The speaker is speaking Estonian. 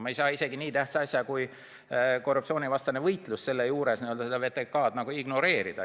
Me ei saa nii tähtsa asja juures, kui korruptsioonivastane võitlus on, VTK-d ignoreerida.